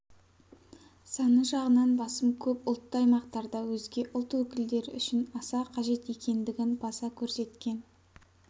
саны жағынан басым көп ұлтты аймақтарда өзге ұлт өкілдері үшін аса қажет екендігін баса көрсеткен